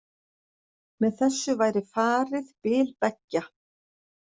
Með þessu væri farið bil beggja